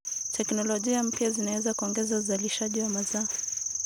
Teknolojia mpya zinaweza kuongeza uzalishaji wa mazao.